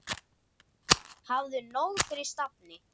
Hafðu nóg fyrir stafni.